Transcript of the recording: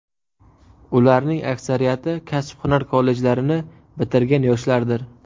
Ularning aksariyati kasb-hunar kollejlarini bitirgan yoshlardir.